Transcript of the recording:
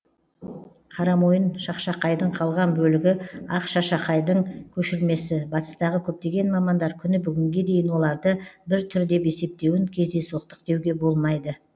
қарамойын шақшақайдың қалған бөлігі ақ шашақайдың көшірмесі батыстағы көптеген мамандар күні бүгінге дейін оларды бір түр деп есептеуін кездейсоқтық деуге болмайды